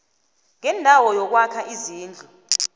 ngendawo yokwakha izindlu